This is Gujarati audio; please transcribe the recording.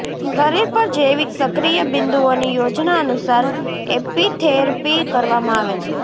શરીર પર જૈવિક સક્રિય બિંદુઓની યોજના અનુસાર એપિથેરપી કરવામાં આવે છે